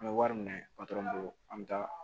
An bɛ wari minɛ an bɛ taa